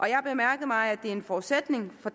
jeg har bemærket mig at det er en forudsætning for